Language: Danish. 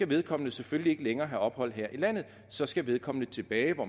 vedkommende selvfølgelig ikke længere skal have ophold her i landet så skal vedkommende tilbage hvor